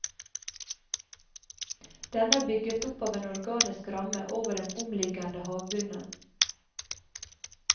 Denne er bygget opp av en organisk ramme over den omliggende havbunnen.